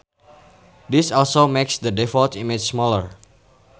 This also makes the default images smaller.